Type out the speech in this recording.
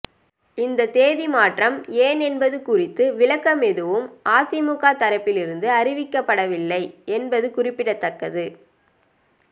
இந்த தேதி மாற்றம் ஏன் என்பது குறித்த விளக்கம் எதுவும் அதிமுக தரப்பில் இருந்து அறிவிக்கப்படவில்லை என்பது குறிப்பிடத்தக்கது